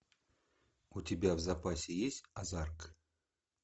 у тебя в запасе есть озарк